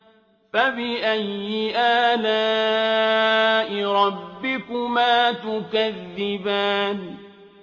فَبِأَيِّ آلَاءِ رَبِّكُمَا تُكَذِّبَانِ